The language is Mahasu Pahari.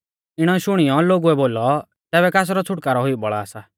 इणै शुणियौ लोगुऐ बोलौ तैबै कासरौ छ़ुटकारौ हुई बौल़ा सा